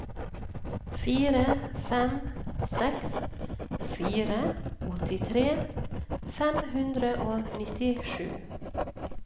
fire fem seks fire åttitre fem hundre og nittisju